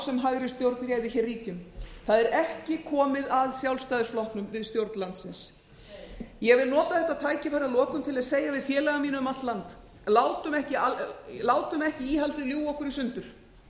sem hægri stjórn réði hér ríkjum það er ekki komið að sjálfstæðisflokknum við stjórn landsins nei ég vil nota þetta tækifæri að lokum til að segja við félaga mína um allt land látum ekki íhaldið ljúga okkur í sundur